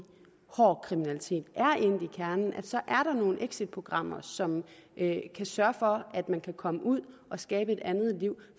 hård kriminalitet er endt i kernen at så er der nogle exitprogrammer som kan sørge for at man kan komme ud og skabe et andet liv